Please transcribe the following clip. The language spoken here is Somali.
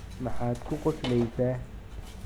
maxaad ku qoslaysaa?